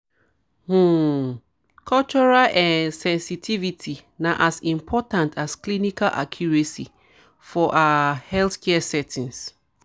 um cultural um sensitivity na as important as clinical accuracy for ah healthcare settings.